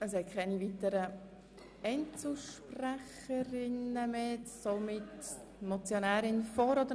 Es wünschen keine weiteren Einzelsprecherinnen und Einzelsprecher mehr das Wort.